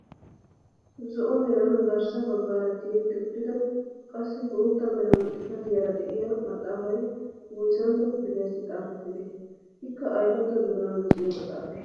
Zo'o meran garssa baggaara tiyetti uttida qassi bootta mera xifatiyaara de'iyaa maaxafay woyssantto kifiliyaassi xafettidee? Ikka aybatto doonaa luxiyo maxaafay?